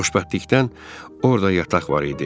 Xoşbəxtlikdən orda yataq var idi.